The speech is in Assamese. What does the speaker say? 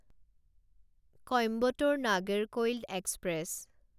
কইম্বটোৰ নাগেৰকৈল এক্সপ্ৰেছ